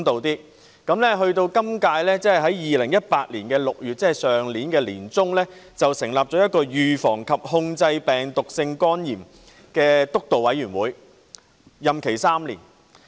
本屆政府在2018年6月，即去年年中，成立了一個預防及控制病毒性肝炎督導委員會，任期3年......